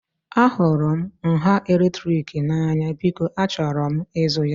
Ahụrụ m nha eletrik n'anya, biko achọrọ m ịzụ ya